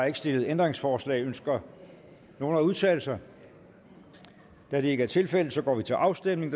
ikke stillet ændringsforslag ønsker nogen at udtale sig da det ikke er tilfældet går vi til afstemning